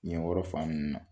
Ɲɛ yɔrɔ fan ninnu na.